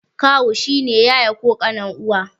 Kawu shi ne yaya ko ƙanin uwa.